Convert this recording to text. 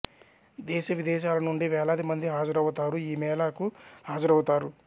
దేశ విదేశాల నుండి వేలాది మంది హాజరవుతారు ఈ మేళాకు హాజరవుతారు